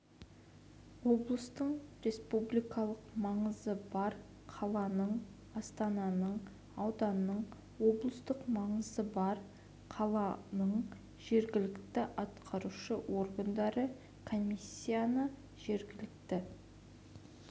облыстың республикалық маңызы бар қаланың астананың ауданның облыстық маңызы бар қаланың жергілікті атқарушы органдары комиссияны жергілікті